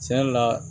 Tiɲɛ yɛrɛ la